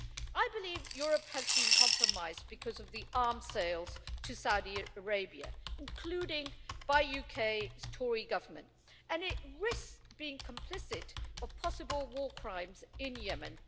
I believe Europe has been compromised because of the arms sales to Saudi Arabia, including by the UK's Tory government, and it risks being complicit in possible war crimes in Yemen.